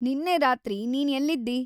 ನಿನ್ನೆ ರಾತ್ರಿ ನೀನ್‌ ಎಲ್ಲಿದ್ದೀ?